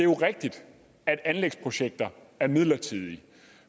er jo rigtigt at anlægsprojekter er midlertidige